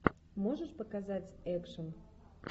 можешь показать экшн